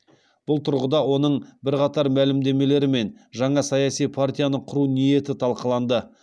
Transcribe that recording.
бұл тұрғыда оның бірқатар мәлімдемелері мен жаңа саяси партияны құру ниеті талқыланды